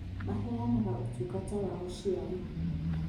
Maheanaga ũtungata wa ũciari